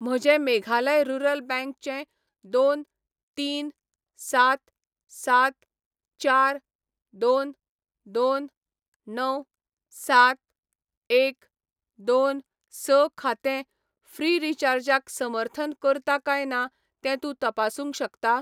म्हजें Meghalaya rural bank चें दोन, तीन, सात, सात, चार, दोन, दोन, णव, सात, एक, दोन, स खातें ऴ्रीचार्ज क समर्थन करता काय ना तें तूं तपासूंक शकता?